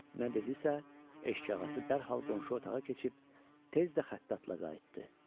Nə dedisə, eşikağası dərhall qonşu otağa keçib tez də xəttatla qayıtdı.